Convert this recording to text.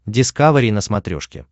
дискавери на смотрешке